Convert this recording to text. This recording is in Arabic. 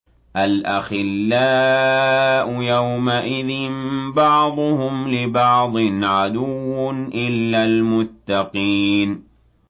الْأَخِلَّاءُ يَوْمَئِذٍ بَعْضُهُمْ لِبَعْضٍ عَدُوٌّ إِلَّا الْمُتَّقِينَ